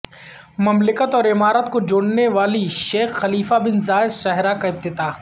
مملکت اور امارات کو جوڑنے والی شیخ خلیفہ بن زاید شاہراہ کا افتتاح